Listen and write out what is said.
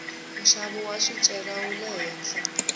nxavo wa swicelwa wule henhla